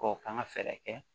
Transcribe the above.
K'o kan ka fɛɛrɛ kɛ